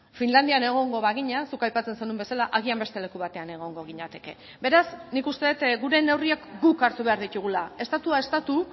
finlandian egongo bagina zuk aipatzen zenuen bezala agian beste leku batean egongo ginateke beraz nik uste dut gure neurriak guk hartu behar ditugula estatua estatu